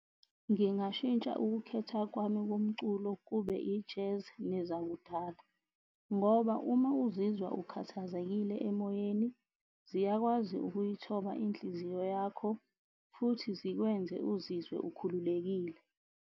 Ngingashintsha ukukhetha kwami komculo kube i-Jazz nezakudala. Ngoba uma uzizwa ukhathazekile emoyeni ziyakwazi ukuyithoba inhliziyo yakho futhi zikwenze uzizwe ukhululekile.